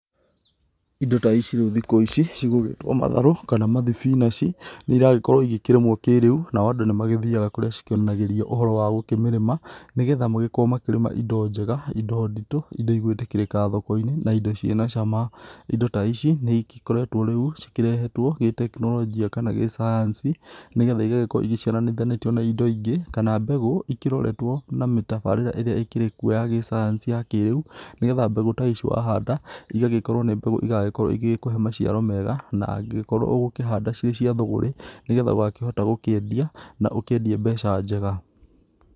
Indo taici riu thikũ ici cigũgĩtwo matharũ kana mathibinachi, nĩragĩkorwũ ĩkĩrĩmwo kĩreũ nao andũ nĩmagĩthĩaga kũrĩa cĩkĩonanagĩrĩo ũhoro gũkĩmĩrĩma nĩgetha magĩkorwo makĩrĩma ĩndo njega, ĩndo ndĩtũ, ĩndo ĩgũtĩkĩrĩka thokoĩnĩ, na ĩndo cĩna cama. Ĩndo ta ĩcĩ nĩ ĩkoretwo rĩũ cĩkĩrehotwo gĩtekĩnolojĩa kana gĩsayansĩ nĩgetha ĩgagĩkorwo ĩcarĩthanĩtĩũ na ĩndo ĩngĩ, kana mbegũ ĩkĩroretwo na mĩtabarĩra ĩrĩa ĩkĩrekwo ya gĩsayansĩ ya kĩreũ. Nĩgetha mbegũ taĩĩcĩ wa handa ĩgagĩkorwo nĩ mbegũ ĩgagĩkorwo ĩgekũhe macĩaro meega na angĩkorwo ũgakĩhanda cĩ cĩa thũgũrĩ, nĩgetha ũgakĩhota gũkĩendĩa na ũkĩendĩe mbeca njega.